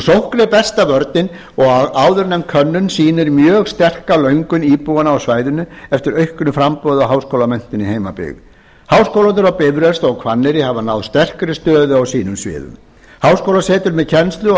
sókn er besta vörnin og áðurnefnd könnun sýnir mjög sterka löngun íbúanna á svæðinu eftir auknu framboði á háskólamenntun í heimabyggð háskólarnir á bifröst og hvanneyri hafa náð sterkri stöðu á sínum sviðum háskólasetur með kennslu og